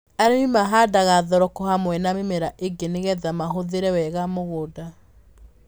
Arĩmi mahandaga thoroko hamwe na mĩmera ĩngĩ nĩgetha mahũthĩre wega mũgũnda.